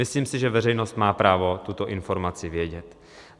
Myslím si, že veřejnost má právo tuto informaci vědět.